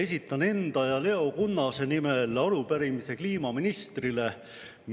Esitan enda ja Leo Kunnase nimel arupärimise kliimaministrile.